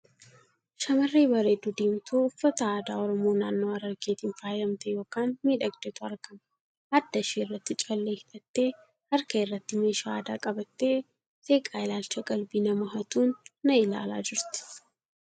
Shamarree bareedduu diimtuu uffata aadaa Oromoo naannoo Harargeetiin faayamte yookan miidhagdetu argama. Adda ishee irratti callee hidhattee harka irratti meeshaa aadaa qabattee seeqaa ilaalcha qalbii nama hatuun na ilaalaa jirti.